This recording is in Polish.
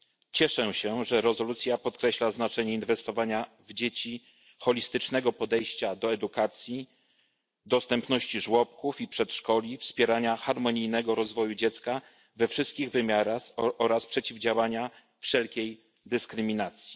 Cieszę się, że rezolucja podkreśla znaczenie inwestowania w dzieci, holistycznego podejścia do edukacji, dostępności żłobków i przedszkoli, wspierania harmonijnego rozwoju dziecka we wszystkich wymiarach oraz przeciwdziałania wszelkiej dyskryminacji.